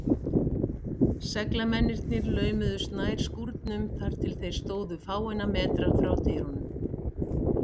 Seglamennirnir laumuðust nær skúrnum, þar til þeir stóðu fáeina metra frá dyrunum.